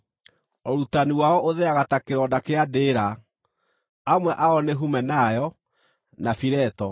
Ũrutani wao ũtheaga ta kĩronda kĩa ndĩĩra. Amwe ao nĩ Humenayo, na Fileto,